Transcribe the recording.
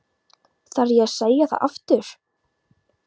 Þarf ég að segja það aftur?